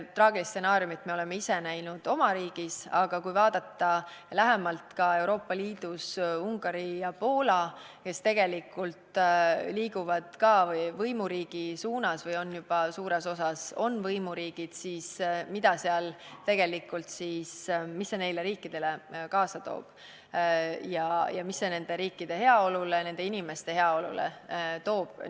Traagilist stsenaariumit me oleme ise näinud oma riigis, aga võime vaadata lähemalt ka Euroopa Liidus Ungarit ja Poolat, kes tegelikult liiguvad ka võimuriigi poole või juba on suures osas võimuriigid, mis see neile riikidele tegelikult kaasa toob ja mis see nende riikide heaolule, nende inimeste heaolule toob.